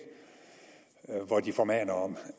hvor de formaner om